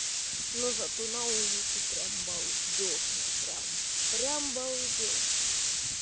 но зато на улице прямо балдёжно прямо прямо балдёжно